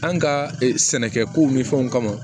An ka sɛnɛkɛ kow ni fɛnw kama